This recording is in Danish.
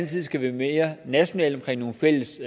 side skal være mere nationalt omkring nogle fælles